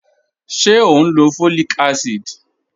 Ṣẹ̀ o n lọ́ fọ́líìkà àsídì?